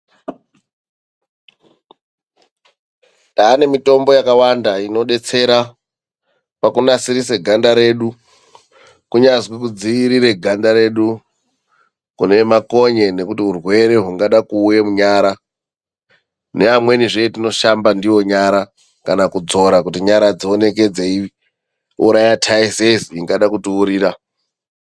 Taane mitombo yakawanda inodetsera pakunasirise ganda redu , kunyazwi kudziirire ganda redu kune makonye nekuti urwere ungade kuuye kunyara neamwenizve etinoshamba ndiwo nyara kana kudzora kuti nyara dzioneke dzeiuraya taizezi ingada kutiurira.